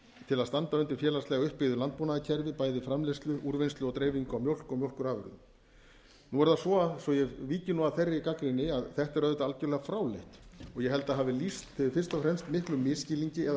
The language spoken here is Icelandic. til að standa undir félagslega uppbyggðu landbúnaðarkerfi bæði framleiðslu úrvinnslu og dreifingu á mjólk og mjólkurvörum nú er það svo svo að ég víki nú að þeirri gagnrýni að þetta er auðvitað algjörlega fráleitt og ég held að það hafi fyrst og fremst lýst miklum misskilningi eða